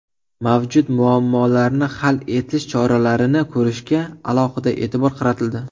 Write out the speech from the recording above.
Mavjud muammolarni hal etish choralarini ko‘rishga alohida e’tibor qaratildi.